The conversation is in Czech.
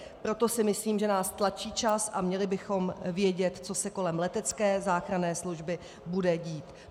Proto si myslím, že nás tlačí čas a měli bychom vědět, co se kolem letecké záchranné služby bude dít.